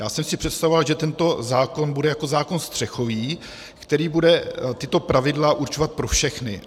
Já jsem si představoval, že tento zákon bude jako zákon střechový, který bude tato pravidla určovat pro všechny.